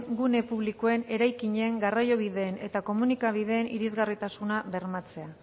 gune publikoen eraikinen garraiobideen eta komunikabideen irisgarritasuna bermatzea